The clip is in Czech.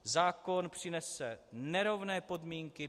Zákon přinese nerovné podmínky.